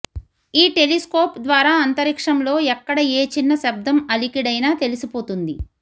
ఈ టెలిస్కోప్ ద్వారా అంతరిక్షంలో ఎక్కడ ఏ చిన్న శబ్దం అలికిడైనా తెలిసిపోతుంది